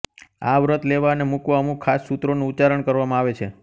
આ વ્રત લેવા અને મૂકવા અમુક ખાસ સૂત્રોનું ઉચ્ચારણ કરવામાં આવે છે